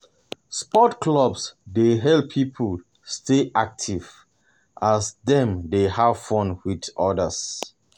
Sports clubs dey help people stay active as dem dey have fun with others.